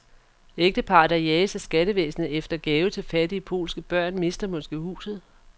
Ægteparret, der jages af skattevæsenet efter gave til fattige polske børn, mister måske huset.